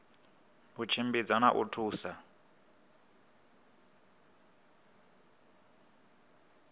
u tshimbidza na u thusa